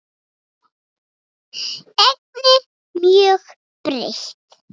Ennið mjög breitt.